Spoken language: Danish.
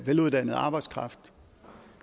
veluddannet arbejdskraft